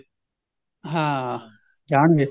ਹਾਂ ਜਾਣਗੇ